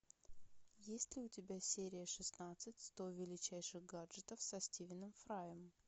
есть ли у тебя серия шестнадцать сто величайших гаджетов со стивеном фраем